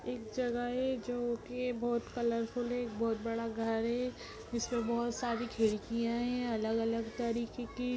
एक जगह है जो कि बोहोत कलरफुल है । एक बोहोत बड़ा घर है । जिसपे बोहोत सारी खिड़कियाँ हैं अलग-अलग तरीके की ।